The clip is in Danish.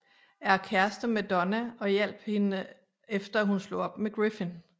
Er kæreste med Donna og hjalp hende efter at hun slog op med Griffin